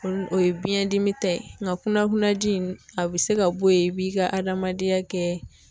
O ye biɲɛndimi ta ye, nka kunnakunnaji a bɛ se ka bɔ yen i b'i ka adamadenya kɛ.